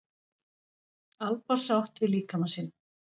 Alba sátt við líkama sinn